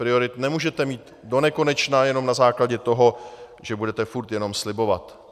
Priorit nemůžete mít donekonečna jenom na základě toho, že budete furt jenom slibovat.